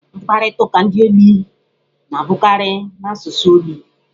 Mkparịta ụka ndi ogbi na-abụkarị n'asụsụ ogbi.